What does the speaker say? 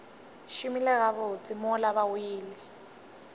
šomile gabotse mola ba wele